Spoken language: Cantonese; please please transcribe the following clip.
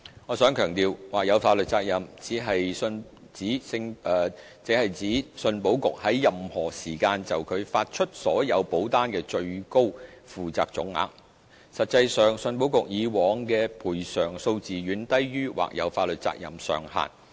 我想強調，或有法律責任只是指信保局在任何時間就其發出所有保單的最高負責總額，實際上，信保局以往的賠償數字遠低於或有法律責任上限。